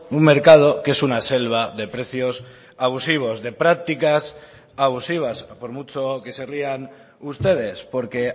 un mercado que es una selva de precios abusivos de prácticas abusivas por mucho que se rían ustedes porque